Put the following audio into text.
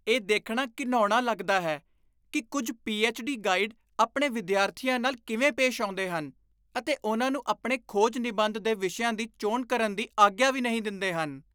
ਇਹ ਦੇਖਣਾ ਘਿਣਾਉਣਾ ਲੱਗਦਾ ਹੈ ਕਿ ਕੁੱਝ ਪੀ.ਐੱਚ.ਡੀ. ਗਾਈਡ ਆਪਣੇ ਵਿਦਿਆਰਥੀਆਂ ਨਾਲ ਕਿਵੇਂ ਪੇਸ਼ ਆਉਂਦੇ ਹਨ ਅਤੇ ਉਨ੍ਹਾਂ ਨੂੰ ਆਪਣੇ ਖੋਜ ਨਿਬੰਧ ਦੇ ਵਿਸ਼ਿਆਂ ਦੀ ਚੋਣ ਕਰਨ ਦੀ ਆਗਿਆ ਵੀ ਨਹੀਂ ਦਿੰਦੇ ਹਨ।